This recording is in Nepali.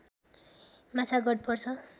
माछागढ पर्छ